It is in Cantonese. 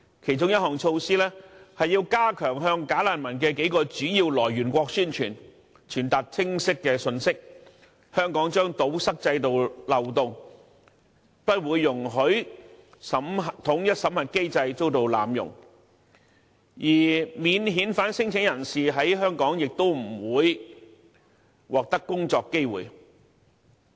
其中一項措施是要加強在數個"假難民"來源國宣傳，傳達清晰的信息，表明香港將堵塞制度漏洞，不容許濫用統一審核機制，而免遣返聲請人在香港亦不會獲得工作機會。